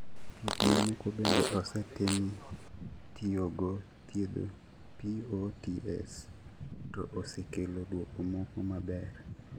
Thieth mamoko bende osetemi tiyo go thiedho POTS to osekelo duoko moko maber